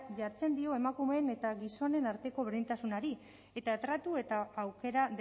jartzen dio emakumeen eta gizonen arteko berdintasunari eta tratu eta aukera